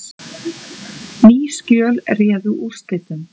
Ný skjöl réðu úrslitum